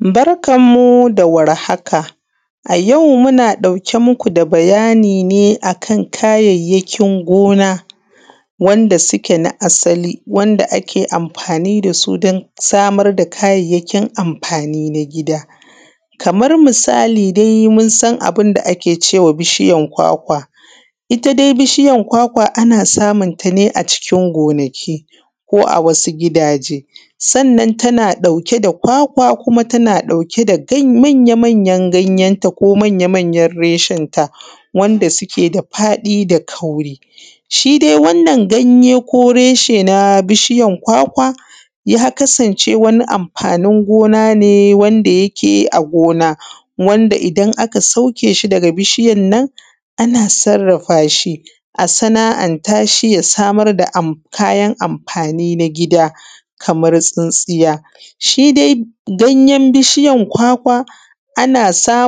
Barkan mu da warhaka. A yau muna ɗauke muku da bayani ne akan kayayyakin gona da suke na asali wanda ake amfani dasu dan samar da kayyakin amfani na gida. Kamar misali dai munsan abunda ake cewa bishiyan kwakwa, itta dai bishiyan kwakwa ana samun tane a cikin gonaki ko a wasu gidaje. Sannan tana ɗauke da kwakwa ko tana ɗauke da manya manyan ganyen ta ko manya manya reshen ta wanda suke da faɗi da kauri. Shi dai wannan ganye ko reshe na bishiyan kwakwa ya kasance wani amfanin gona ne wanda yake a gona. Wanda idan aka sauke shi daga bishiyannan ana sarrafashi a sana’anta shi ya samar da kayan amfani na gida kamar tsintsiya. Shi dai gayen bishiyan kwakwa